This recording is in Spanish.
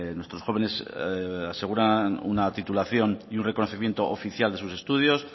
nuestros jóvenes aseguran una titulación y un reconocimiento oficial de sus estudios